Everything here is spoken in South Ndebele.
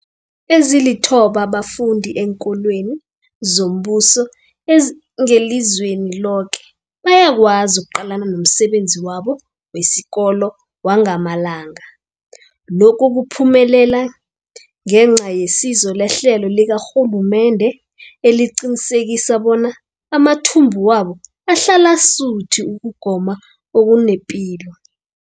Ezilithoba abafunda eenkolweni zombuso ezingelizweni loke bayakwazi ukuqalana nomsebenzi wabo wesikolo wangamalanga. Lokhu kuphumelele ngenca yesizo lehlelo likarhulumende eliqinisekisa bona amathumbu wabo ahlala asuthi ukugoma okunepilo.